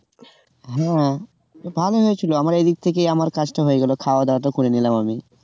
হ্যাঁ তো ভালোই হয়েছিল আমার এদিক থেকে আমার কাজটা হয়ে গেল খাওয়া-দাওয়া টা করে নিলাম আমি